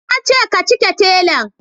Nace ka cike telan